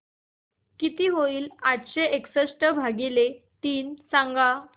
किती होईल आठशे एकसष्ट भागीले तीन सांगा